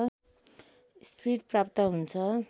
speed प्राप्त हुन्छ